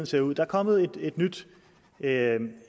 ser ud der er kommet en